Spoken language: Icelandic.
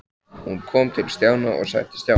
Hún kom til Stjána og settist hjá honum.